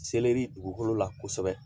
Seleri dugukolo la kosɛbɛ